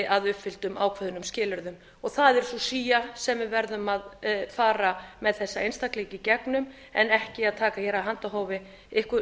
að uppfylltum ákveðnum skilyrðum það er sú sía sem við verðum að fara með þessa einstaklinga í gegnum en ekki að taka hér af handahófi